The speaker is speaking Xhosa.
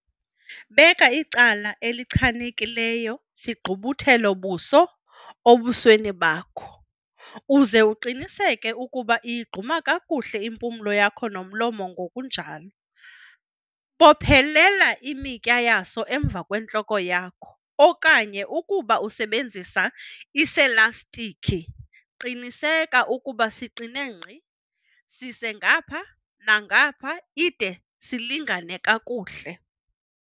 Beka icala elichanekileyo sigqubuthelo-buso ebusweni bakho, uze uqinisekise ukuba iyigquma kakuhle impumlo yakho nomlomo ngokunjalo. Bophelela imitya yaso emva kwentloko yakho, okanye ukuba usebenzisa eselastikhi, qinisekisa ukuba siqine nkqi. Sise ngapha nangapha ide silingane kakuhle.